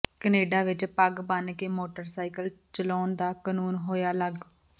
ਕਨੈਡਾ ਵਿੱਚ ਪੱਗ ਬੰਨ ਕੇ ਮੋਟਰਸਾਇਕਲ ਚਲਾਉਣ ਦਾ ਕਨੂੰਨ ਹੋਇਆ ਲਾਗੂ